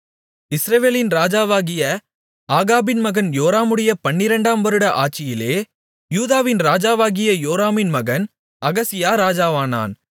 இஸ்ரவேலின் ராஜாவாகிய ஆகாபின் மகன் யோராமுடைய பன்னிரண்டாம் வருட ஆட்சியிலே யூதாவின் ராஜாவாகிய யோராமின் மகன் அகசியா ராஜாவானான்